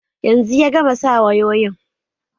Yanzu ya gama sa wayoyin